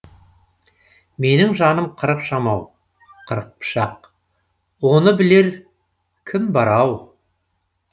менің жаным қырық жамау қырық пышақ оны білер кім бар ау